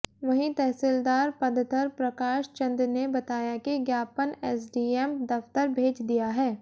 वहीं तहसीलदार पद्धर प्रकाश चंद ने बताया कि ज्ञापन एसडीएम दफ्तर भेज दिया है